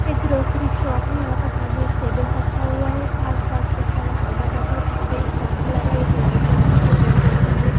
एक grocery shop है यहाँ पर सामने एक टेबल रखा हुआ है आसपास बहुत सारा सामान रखा है छत पे एक पंखा लगा है एक लाइट लगी है जो जल रही है।